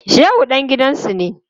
Shehu dan gidansu ne.